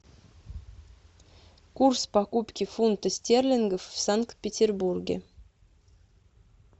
курс покупки фунта стерлингов в санкт петербурге